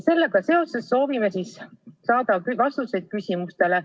Sellega seoses soovime saada vastuseid küsimustele.